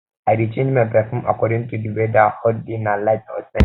i dey change my perfume according to di weather hot day na light scent